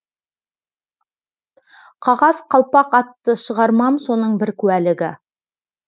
қағаз қалпақ атты шығармам соның бір куәлігі